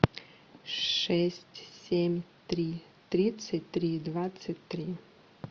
шесть семь три тридцать три двадцать три